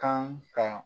Kan ka